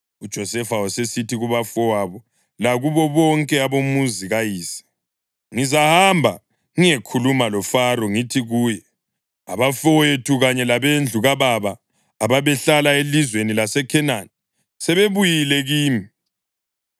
UJosefa wasesithi kubafowabo lakubo bonke abomuzi kayise, “Ngizahamba ngiyekhuluma loFaro ngithi kuye, ‘Abafowethu kanye labendlu kababa ababehlala elizweni laseKhenani sebebuyile kimi.